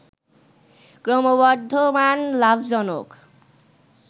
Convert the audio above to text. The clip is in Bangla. ক্রমবর্ধমান লাভজনক